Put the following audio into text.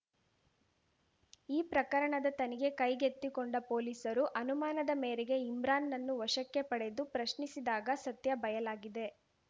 ಈ ಪ್ರಕರಣದ ತನಿಖೆ ಕೈಗೆತ್ತಿಕೊಂಡ ಪೊಲೀಸರು ಅನುಮಾನದ ಮೇರೆಗೆ ಇಮ್ರಾನ್‌ನನ್ನು ವಶಕ್ಕೆ ಪಡೆದು ಪ್ರಶ್ನಿಸಿದಾಗ ಸತ್ಯ ಬಯಲಾಗಿದೆ